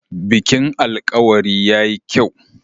Bikin alkawari ya yi kyau.